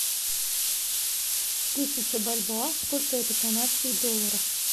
тысяча бальбоа сколько это канадских долларов